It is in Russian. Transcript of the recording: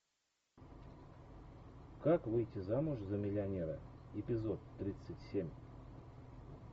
как выйти замуж за миллионера эпизод тридцать семь